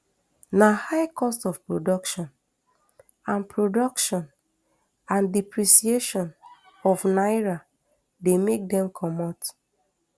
na high cost of production and production and depreciation of naira dey make dem comot